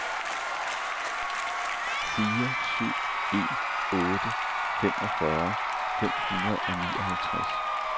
fire syv en otte femogfyrre fem hundrede og nioghalvtreds